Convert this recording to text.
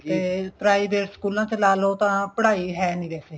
ਤੇ private ਸਕੂਲਾਂ ਚ ਲਾਲੋ ਤਾਂ ਪੜ੍ਹਾਈ ਹੈ ਨੀ ਵੈਸੇ